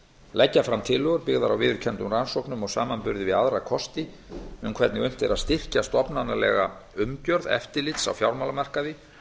leggja fram tillögur byggðar á viðurkenndum rannsóknum og samanburði við aðra kosti um hvernig unnt er að styrkja stofnanalega umgjörð eftirlits á fjármálamarkaði